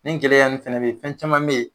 Nin gɛlɛya nn fɛnɛ be ye, fɛn caman be ye